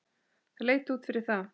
Það leit út fyrir það.